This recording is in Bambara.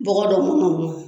Bɔgɔ dɔ mɔnɔ mɔ